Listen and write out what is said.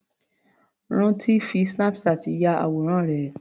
Ranti fi Snapchat ya àwòrán rẹ̀.